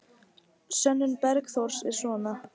Sönnun Bergþórs er svona: